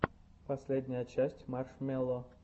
последняя часть маршмелло